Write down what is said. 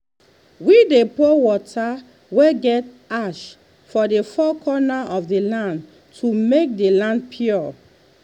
we dey pour water wey get ash for the four corner of the land to make the land pure.